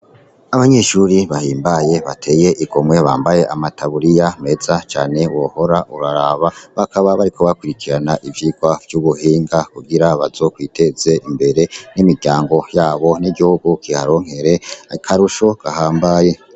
Abanyeshure bahimbaye bateye igomwe bambaye amataburiya meza cane wohora uraraba, bakaba bariko bakurikirana ivyigwa vy'ubuhinga kugira bazokwiteze imbere n'imiryango yabo n'igihugu kiharonkere akarusho gahambaye.